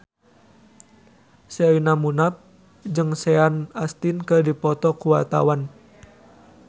Sherina Munaf jeung Sean Astin keur dipoto ku wartawan